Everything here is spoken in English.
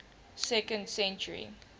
second century